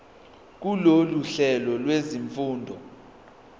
kulolu hlelo lwezifundo